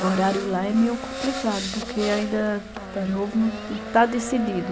O horário lá é meio complicado, porque ainda está novo, não está decidido.